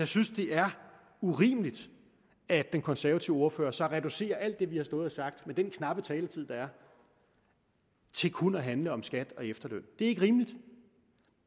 synes det er urimeligt at den konservative ordfører så reducerer alt det vi har stået og sagt med den knappe taletid der er til kun at handle om skat og efterløn det er ikke rimeligt